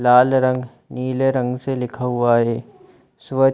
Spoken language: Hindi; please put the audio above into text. लाल रंग नीले रंग से लिखा हुआ है स्वच्छ--